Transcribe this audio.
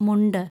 മുണ്ട്